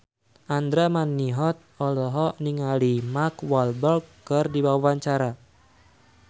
Andra Manihot olohok ningali Mark Walberg keur diwawancara